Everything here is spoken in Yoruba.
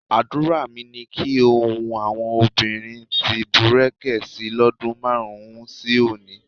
Àdúrà mi ni kí ohun àwọn obìnrin ti bùrẹ̀kẹ̀ si lọ́dún márùn-ún sí òní.